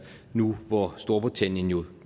nu hvor storbritannien jo